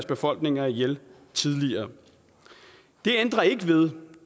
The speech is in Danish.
befolkninger ihjel tidligere det ændrer ikke ved